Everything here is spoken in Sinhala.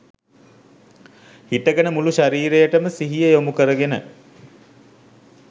හිටගෙන මුළු ශරීරයටම සිහිය යොමු කරගෙන